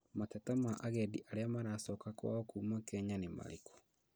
Mateta ma agendi arĩa maracoka kwao kuma Kenya nĩmarĩkũ?